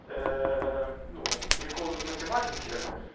эээ ну приколы из математики